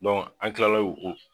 an Kilala o o